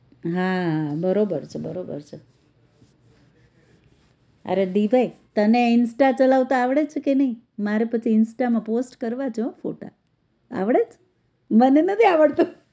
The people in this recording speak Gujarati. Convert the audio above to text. હા બરોબર છે બરોબર છે અરે દિભાઈ તને insta ચલાવતા આવડે છે કે નહિ મારે પછી insta માં post કરવા છે હો ફોટ આવડે છે? મને નથી આવડતું